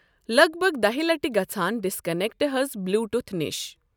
لَگ بَگ دَہہِ لَٹۍ گَژَھان ڈِسکَنٮ۪کٹ حَظ بِلیوٗٹُتھ نِش۔